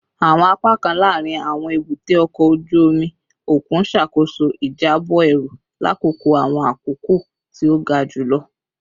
Awọn apakan laarin awọn ebute oko oju omi okun ṣakoso ijabọ eru lakoko awọn akoko ti o ga julọ